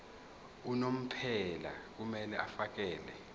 unomphela kumele afakele